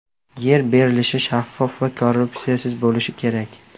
Yer berilishi shaffof va korrupsiyasiz bo‘lishi kerak.